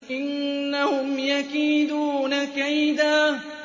إِنَّهُمْ يَكِيدُونَ كَيْدًا